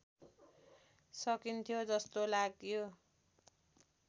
सकिन्थ्यो जस्तो लाग्यो